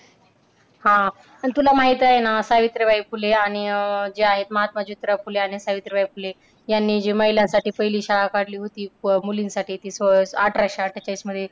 हा, अन तुला माहित आहे ना? सावित्रीबाई फुले आणि अह जे आहेत महात्मा ज्योतिराव फुले आणि सावित्रीबाई फुले यांनी जी महिलांसाठी पहिली शाळा काढली होती. मुलींसाठी ती अह अठराशे अठ्ठेचाळीसमध्ये